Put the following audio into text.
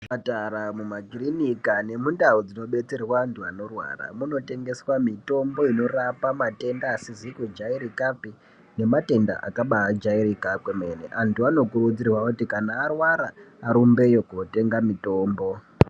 Muzvipatara, mumakirinika nemundau dzinodetserwa antu anorwara munotengeswa mitombo inorape matenda asizi kujairikapi nematenda akabajairika kwemene. Antu anokurudzirwe kuti kana arwara anorumbeyo kotenga mitombo.